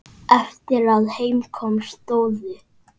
Eftir að heim kom stóðu